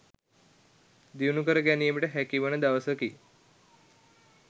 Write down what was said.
දියුණු කර ගැනීමට හැකිවන දවසකි.